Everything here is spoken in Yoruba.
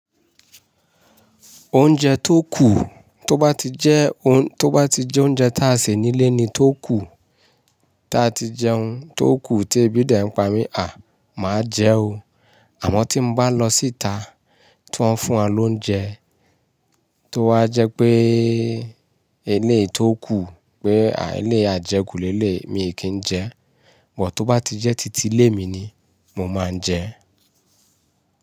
Oúnjẹ tó kù tó bá ti jẹ́ oún, tó bá ti jẹ́ oúnjẹ táa sì nílé ni tó kù, táa ti jẹun tó kù tí Ebídẹ̀ ń pa mí, à, màá jẹun. Àmọ́ tí mo bá lọ síta tí wọ́n fún wa lóúnjẹ, tó wá jẹ́ jé ilé tó kù pé à ilé yi àjẹkù lé lé, mi kì í jẹ, bọ̀ tó bá ti jẹ́ títí ilé mi ni canmo máa jẹ.